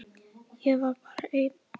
Ég var bara ein.